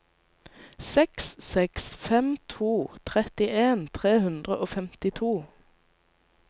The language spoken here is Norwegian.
seks seks fem to trettien tre hundre og femtito